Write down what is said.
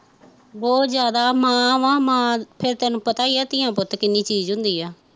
ਬਹੁਤ ਜਿਆਦਾ ਮਾਂ ਵਾਂ ਮਾਂ ਫਿਰ ਤੈਨੂ ਪਤਾ ਈ ਆ ਧੀਆ ਪੁੱਤ ਕਿੰਨੀ ਚੀਜ਼ ਹੁੰਦੀ ਆ